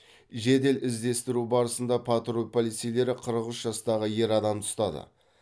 жедел іздестіру барысында патруль полицейлері қырық үш жастағы ер адамды ұстады